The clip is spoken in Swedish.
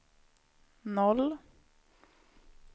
noll